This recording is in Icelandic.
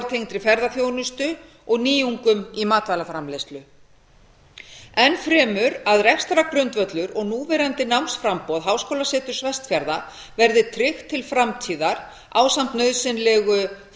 sjávartengdri ferðaþjónustu og nýjungum í matvælaframleiðslu enn fremur að rekstrargrundvöllur og núverandi námsframboð háskólaseturs vestfjarða verði tryggt til framtíðar ásamt nauðsynlegu